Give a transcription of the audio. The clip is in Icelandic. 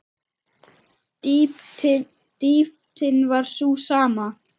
Dýptin var sú sama.